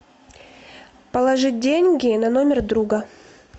положить деньги на номер друга